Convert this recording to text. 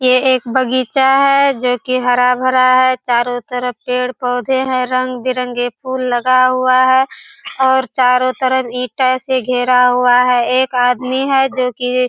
यह एक बगीचा है जो की हरा-भरा है चारों तरफ पेड़-पौधे हैं रंग-बिरंगे फूल लगा हुआ है और चारों तरफ ईटों से घेरा हुआ है एक आदमी है जो की --